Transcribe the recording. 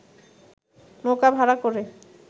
নৌকা ভাড়া করে